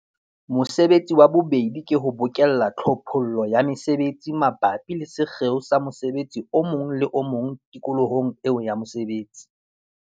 Mosebetsi wa bobedi ke ho bokella tlhophollo ya mesebetsi mabapi le sekgeo sa mosebetsi o mong le o mong tikolohong eo ya mosebetsi.